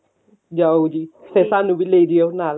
ਜਾਓ ਜੀ ਤੇ ਸਾਨੂੰ ਵੀ ਲੈ ਜੀਓ ਨਾਲ